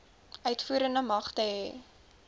uitvoerende magte hê